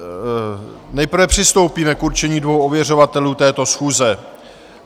Nejprve přistoupíme k určení dvou ověřovatelů této schůze.